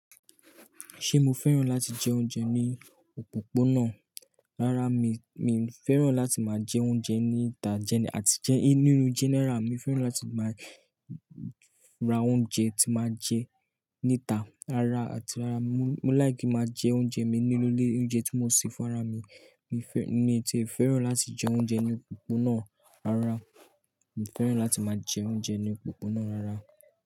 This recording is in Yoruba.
Ṣé mo fẹ́ràn láti jẹ oúnjẹ ní òpópónà? Rárá, mi, mi fẹ́ràn láti máa jẹ oúnjẹ níta jẹ-- àti jẹ nínú general. Mi fẹ́ràn láti máa ra oúnjẹ tí màá jẹ níta. Rárá àti rárá, mo like ki máa jẹ oúnjẹ mi nínú ilé. Oúnjẹ tí mo ṣe fún ara mi. Mi fẹ-- ni ti fẹ́ràn láti jẹ oúnjẹ ní òpópónà. Rárá, mi fẹ́ràn láti máa jẹ oúnjẹ ní òpópónà. Rárá.